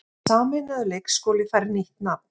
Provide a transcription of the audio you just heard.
Sameinaður leikskóli fær nýtt nafn